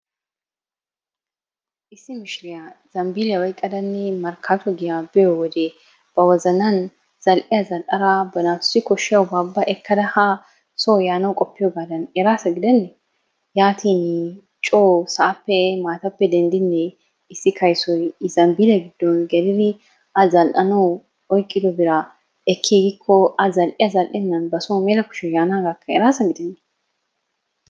Issi mishiriya zambbiliya oyqqadanne markkatto giya biyo wode ba wozanan zal"iyaa zal"ada ba naatussi koshshiyaaba ekkada ha soo yaanawu qopiyoogadan eraassa gidenne? Yaatin coo sa'aappe maatappe denddinne issi kayssoy I zambbiliyaa giddon gelir a zal'anawu oyqqido biraa ekkigiko a zal"iyaa zal"ennan ba so mela kushee yaanagakka eraassa gidenne!